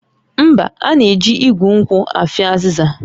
Mba, a na-eji igu nkwụ afịọ azịza